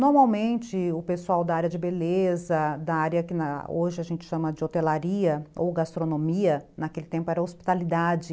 Normalmente o pessoal da área de beleza, da área que hoje a gente chama de hotelaria ou gastronomia, naquele tempo era hospitalidade.